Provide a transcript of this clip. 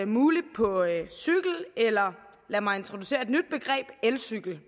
muligt på cykel eller lad mig introducere et nyt begreb elcykel